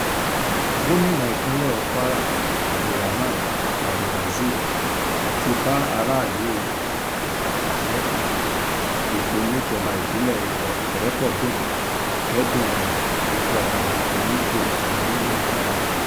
gomina ìpínlẹ̀ kwara abdulrahman abdulrazib ti bá aráàlú àjàṣe-ipò níjọba ìbílẹ̀ ìrépọdùn kẹ́dùn ikú ọba onípò kìn-ín-ní náà